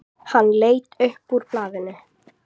Hann leit upp úr blaðinu.